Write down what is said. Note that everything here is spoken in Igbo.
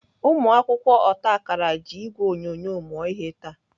Ụmụakwụkwọ otakara ji ìgwè onyonyo mụọ ihe taa.